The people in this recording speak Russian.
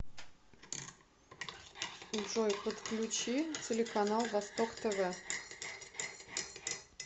джой подключи телеканал восток тв